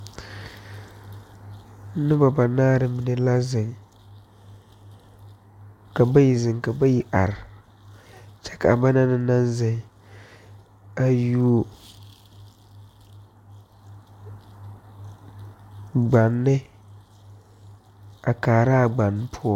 Nobɔ banaare mine la zeŋ ka bayi zeŋ ka bayi are kyɛ ka ba naŋ na naŋ zeŋ a yuo gbanne a kaaraa gbanne poɔ.